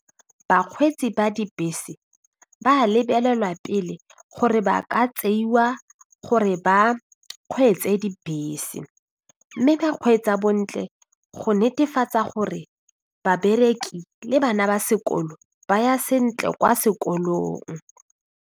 Bakgweetsi ba dibese ba lebelelwa pele gore ba ka tseiwa gore ba kgweetse dibese mme ba kgweetsa bontle go netefatsa gore babereki le bana ba sekolo ba ya sentle kwa sekolong.